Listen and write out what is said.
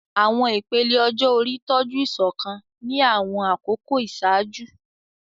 Àwọn ìpele ọjọ́ orí tọ́jú ìṣọ̀kan ní àwọn àkókò ìṣáájú.